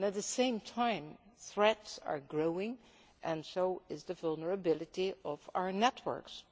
At the same time, threats are growing and so is the vulnerability of our networks.